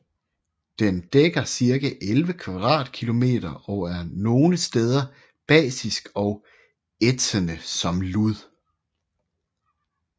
Den dækker cirka 11 kvadratkilometer og er nogle steder basisk og ætsende som lud